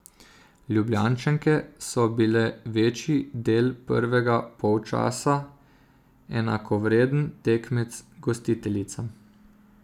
Ljubljančanke so bile večji del prvega polčasa enakovreden tekmec gostiteljicam.